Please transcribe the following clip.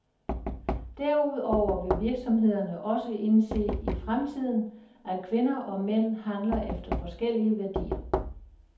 Derudover vil virksomhederne også indse i fremtiden, at kvinder og mænd handler efter forskellige værdier.